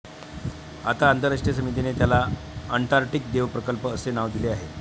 आता आंतरराष्ट्रीय समितीने त्याला अंटार्टिक देव प्रकल्प असे नाव दिले आहे